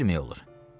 Nə bilmək olur?